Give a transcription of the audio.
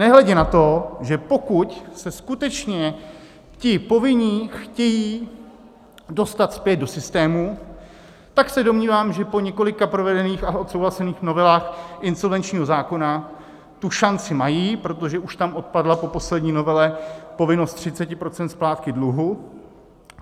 Nehledě na to, že pokud se skutečně ti povinní chtějí dostat zpět do systému, tak se domnívám, že po několika provedených a odsouhlasených novelách insolvenčního zákona tu šanci mají, protože už tam odpadla po poslední novele povinnost 30 % splátky dluhu.